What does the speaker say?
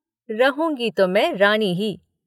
रहूंगी तो मैं रानी ही।